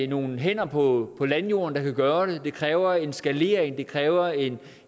nogle hænder på landjorden der kan gøre det det kræver en skalering det kræver en